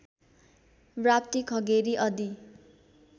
Rapti Khageri Adi